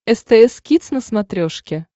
стс кидс на смотрешке